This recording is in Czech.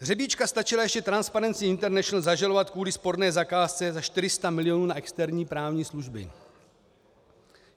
Řebíčka stačila ještě Transparency International zažalovat kvůli sporné zakázce za 400 mil. na externí právní služby.